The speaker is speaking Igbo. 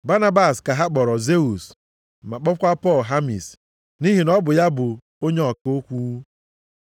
Banabas ka ha kpọrọ Zeus ma kpọkwa Pọl Hamis nʼihi na ọ bụ ya bụ onye ọka okwu. + 14:12 Ndị a bụ aha chi ndị obodo a. Aha ha ọzọ bụ Jupita na Mekuri.